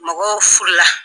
Mɔgɔw furu la.